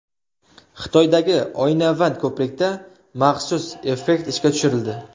Xitoydagi oynavand ko‘prikda maxsus effekt ishga tushirildi.